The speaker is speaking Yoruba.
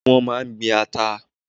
Wọn máa ń gbin ata.